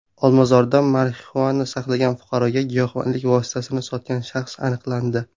Olmazorda marixuana saqlagan fuqaroga giyohvandlik vositasini sotgan shaxs aniqlandi.